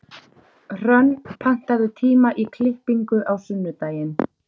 Hrönn, pantaðu tíma í klippingu á sunnudaginn.